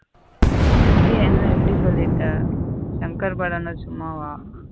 ஏய் என்ன இப்பிடி சொல்லிட்ட சங்கர் படன்ன சும்மாவா.